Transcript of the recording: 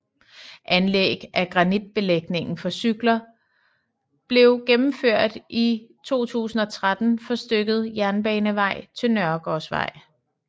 Anlæg af granitbelægingen for cykler belv gennemført i 2013 for stykket Jernbanevej til Nørgaardsvej